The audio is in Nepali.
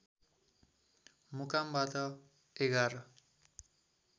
मुकामबाट ११